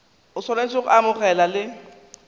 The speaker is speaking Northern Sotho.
o swanetše go amogela le